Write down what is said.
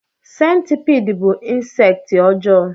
Sentipiid bú insekti ọjọọ.